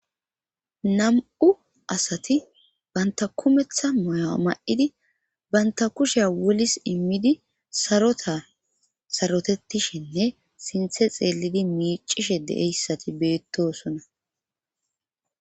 Nam'u asati banta kumeththa moya ma7idi banta kushe wolis immidi sarota sarotettishenne sinthe xeelidi mic'ishe de'iyaysati betosona